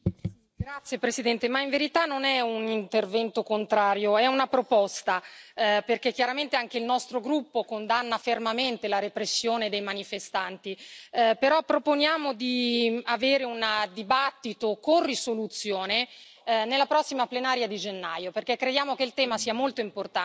Grazie Presidente, ma in verità non è un intervento contrario, è una proposta, perché chiaramente anche il nostro gruppo condanna fermamente la repressione dei manifestanti, però proponiamo di avere un dibattito con risoluzione nella prossima plenaria di gennaio, perché crediamo che il tema sia molto importante